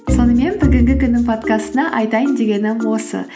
сонымен бүгінгі күннің подкастында айтайын дегенім осы